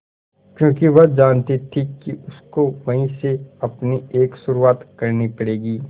क्योंकि वह जानती थी कि उसको वहीं से अपनी एक शुरुआत करनी पड़ेगी